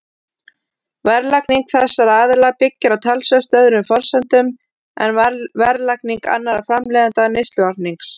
Verðlagning þessara aðila byggir á talsvert öðrum forsendum en verðlagning annarra framleiðenda neysluvarnings.